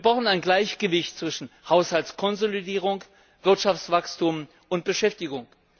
Wir brauchen ein Gleichgewicht zwischen Haushaltskonsolidierung, Wirtschaftswachstum und Beschäftigung.